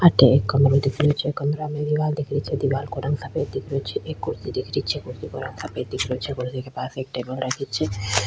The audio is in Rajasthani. अठे एक कमरा दिख रही छे कमरा में दिवार दिख रही छे दिवार का रंग सफ़ेद दिख रही छे एक कुर्सी दिख रही छे कुर्सी का रंग सफ़ेद दिख रही छे कुर्सी के पास एक टेबल रखी छे।